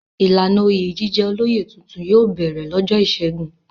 Ìlànà oyè jíjẹ olóyè tuntun yóò bẹ̀rẹ̀ lọ́jọ́ ìṣẹ́gun.